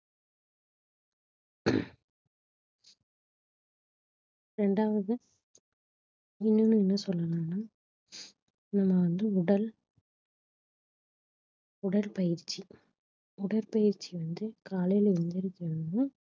ரெண்டாவது இன்னொன்னு என்ன சொல்லணும்னா நம்ம வந்து உடல் உடற்பயிற்சி உடற்பயிற்சி வந்து காலையில எழுந்திருச்சவுடனே